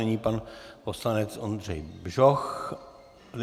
Nyní pan poslanec Ondřej Bžoch.